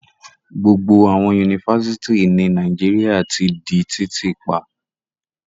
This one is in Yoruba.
Gbogbo àwọn Yunifásitì ní Nàìjíríà ti di títí pa.